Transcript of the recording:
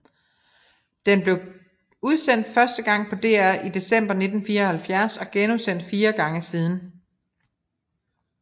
Den blev udsendt første gang på DR i december 1974 og genudsendt fire gange siden